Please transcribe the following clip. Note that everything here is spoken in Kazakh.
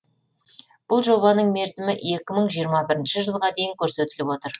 бұл жобаның мерзімі екі мың жиырма бірінші жылға дейін көрсетіліп отыр